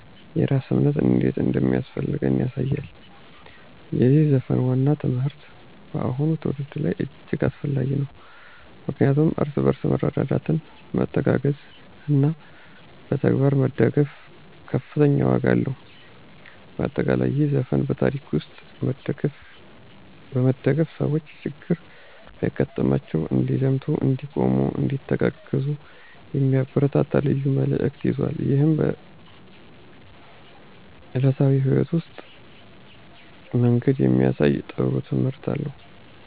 የራስ እምነት እንዴት እንደሚያስፈልገን ያሳያል። የዚህ ዘፈን ዋና ትምህርት በአሁኑ ትውልድ ላይ እጅግ አስፈላጊ ነው፣ ምክንያቱም እርስ በርስ መረዳዳት፣ መተጋገዝ እና በተግባር መደገፍ ከፍተኛ ዋጋ አለው። በአጠቃላይ፣ ይህ ዘፈን በታሪክ መሠረት በመደገፍ ሰዎች ችግር ቢያጋጥማቸው እንዲዘምቱ፣ እንዲቆሙ፣ እንዲተጋገዙ የሚያበረታታ ልዩ መልዕክትን ይዟል። ይህም በዕለታዊ ሕይወት ውስጥ መንገድ የሚያሳይ ጥሩ ትምህርት አለው።